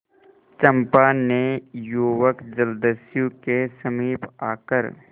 चंपा ने युवक जलदस्यु के समीप आकर